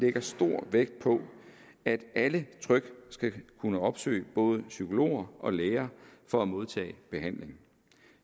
lægger stor vægt på at alle trygt skal kunne opsøge både psykologer og læger for at modtage behandling